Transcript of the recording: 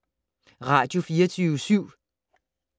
Radio24syv